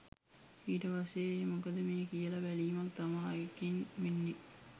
ඊට පස්සෙ ඒ මොකක්ද මේ කියල බැලීමක් තමා ඒකෙන් වෙන්නෙ.